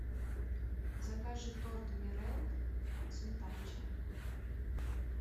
закажи торт мирель сметанча